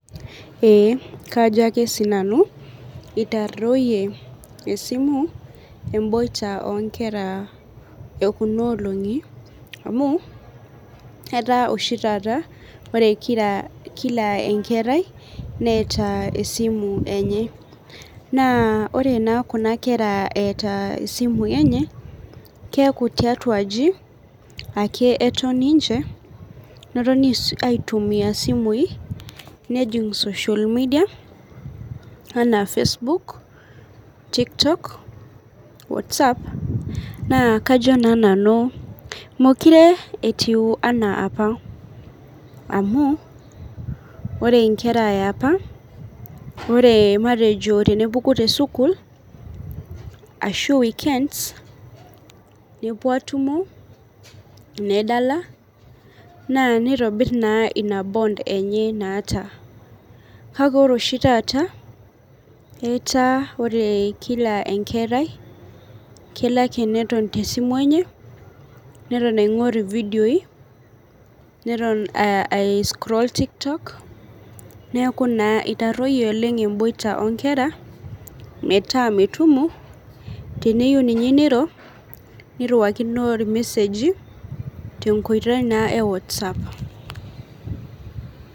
Ee kajo ake sinanu itaroyie esimu emboita onkera ekunoloongi amu etaa oshi taata ore kila enkerai neeta esimu enye na ore na kuna kera eeta simui enye keaku tiatua aji ake eton ninche notoni aitumia simui nejing social media anaa Facebook, tiktok, watsapp na kajo na nanu mekure etiu ana apa amu ore nkera eapa ore matejo tenepuku tesukul ashu weekends nepuo atumo nedala na nitobir na ina bond enye naata kake ore oshi taata ataa ore kila enkerai neton tesimu enye neton aingor videoi neton ai scroll toktok neaku naa itaroyie oleng emboita onkera metaa metumo teneyieu netumo niriwakino irmeseji tenkoitoi naa e watsapp